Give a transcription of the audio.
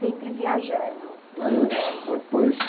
Sempre viajando, procurando. Aí depois